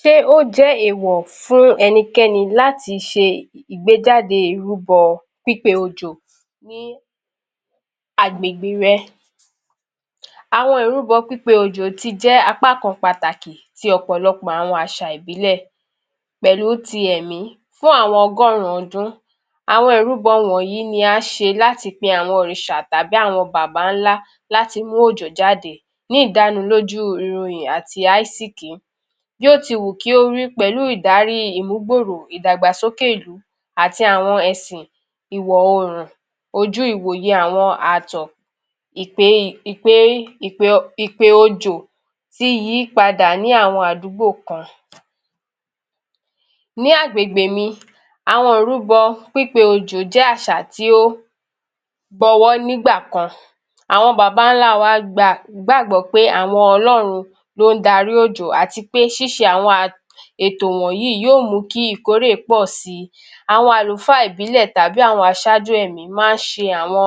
Ṣé ó jẹ́ èèwọ̀ fún ẹnikẹ́ni láti ṣe ìgbéjáde ìrúbọ pípe òjò ní agbègbè rẹ̀? Àwọn ìrúbọ pípe òjò ti jẹ́ apá kan pàtàkì ti ọ̀pọ̀lọpọ̀ àwọn àṣà ìbílẹ̀ pẹ̀lú ti ẹ̀mí fún àwọn ọgọ́rùn-ún ọdún. Àwọn ìrúbọ wọ̀nyí ni a ṣe láti pe àwọn òrìṣà tàbí àwọn bàbáńlá láti mú òjò jáde ní ìdánilójú ìwuyì àti aásìkí. Bí ó ti wù kí ó rí pẹ̀lú ìdarí ìmúgbòòrò ìdàgbàsókè ìlú àti àwọn ẹ̀sìn ìwọ̀ oòrùn ojú ìwòye àwọn ààtọ̀ Ìpe òjò ti yí padà ní àwọn àdúgbò kan. Ní agbègbè mi, àwọn ìrúbọ pípe òjò jẹ́ àṣà tí ó gbọwọ́ nígbà kan. Àwọn babańlá wa gbàgbọ́ pé àwọn Ọlọ́run ló ń darí òjò àti pé ṣíṣe àwọn [a…] ètò wọ̀nyí yóò mú kí ìkórè pọ̀ si. Àwọn àlùfáà ìbílẹ̀ tàbí àwọn aṣáájú ẹ̀mí máa ń ṣe àwọn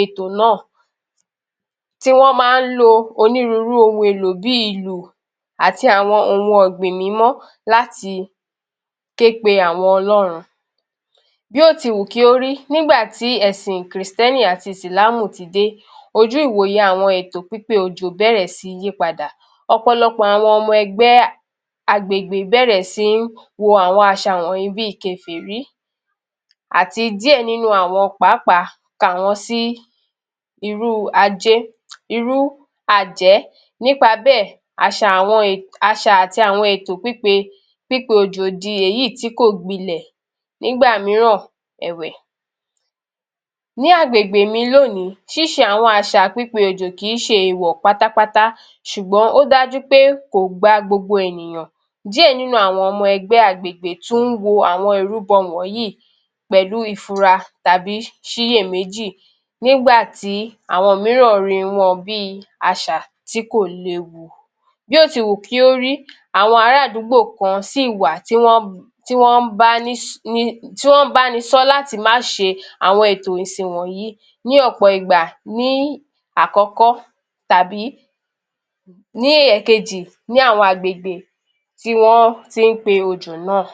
ètò náà tí wọ́n máa ń lo onírúurú ohun-èlò bi ìlù àti àwọn ohun ọ̀gbìn mímọ́ láti ké pe àwọn Ọlọ́run. Bí ó ti wù kí ó rí, nígbà tí ẹ̀sìn kìrìsìtẹ́nì àti ìsìlámù ti dé, ojú ìwòye àwọn ètò pípe òjò bẹ̀rẹ̀ sí yí padà. Ọ̀pọ̀lọpọ̀ àwọn ọmọ ẹgbẹ́ [a…] agbègbè bẹ̀rẹ̀ sí wo àwọn àṣà wọ̀nyí bi kèfèrí àti díẹ̀ nínú àwọn pàápàá kà wọ́n sí [irú ajé…] irú àjẹ́ nípa bẹ́ẹ̀ àṣà àti àwọn ètò pípe òjò di èyí tí kò gbilẹ̀ nígbà mìíràn ẹ̀wẹ̀ Ní agbègbè mi lónìí, ṣíṣe àwọn àṣà pipe òjò kì í ṣe èèwọ̀ pátápátá ṣùgbọ́n ó dájú pé kò gba gbogbo ènìyàn. Díẹ̀ nínú àwọn ọmọ ẹgbẹ́ agbègbè tún wo àwọn ìrúbọ wọ̀nyí pẹ̀lú ìfura tàbí ṣiyè-méjì nígbà tí àwọn mìíràn rí wọn bi àṣà tí kò léwu. Bí ó ti wù kí ó rí, àwọn ará àdúgbò kan ṣì wà tí wọ́n ń báni sọ láti má ṣe àwọn ètò ìsìn wọ̀nyí ní ọ̀pọ̀ ìgbà ní àkọ́kọ́ tàbí ní ẹ̀kejì ní àwọn agbègbè tí wọ́n ti ń pe òjò náà.